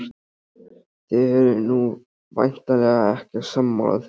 Þið eruð nú væntanlega ekki sammála því?